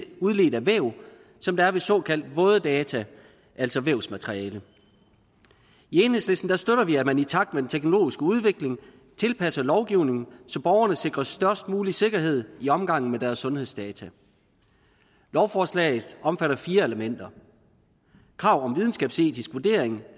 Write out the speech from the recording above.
udledt af væv som der er ved såkaldt våde data altså vævsmateriale i enhedslisten støtter vi at man i takt med den teknologiske udvikling tilpasser lovgivningen så borgerne sikres størst mulig sikkerhed i omgangen med deres sundhedsdata lovforslaget omfatter fire elementer krav om videnskabsetisk vurdering